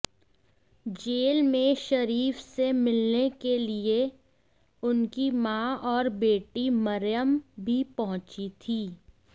jail में शरीफ से मिलने के लिए उनकी मां और बेटी मरयम भी पहुंची थीं